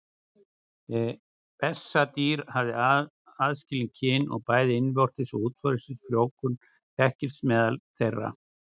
Bessadýr hafa aðskilin kyn og bæði innvortis og útvortis frjóvgun þekkist meðal þeirra.